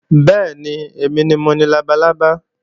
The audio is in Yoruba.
Bẹ́ẹ̀ni, èmi ni mo ni labalábá